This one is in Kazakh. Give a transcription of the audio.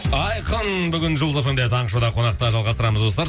айқын бүгін жұлдыз эф эм де таңғы шоуда қонақта жалғастырамыз достар